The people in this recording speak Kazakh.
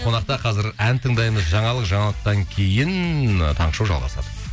қонақта қазір ән тыңдаймыз жаңалық жаңалықтан кейін таңғы шоу жалғасады